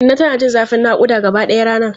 Inna tana jin zafin nakuda gabaɗaya ranar.